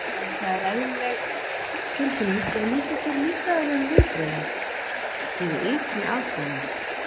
Hræðsla er eðlileg tilfinning og lýsir sér í líffræðilegum viðbrögðum við ytri aðstæðum.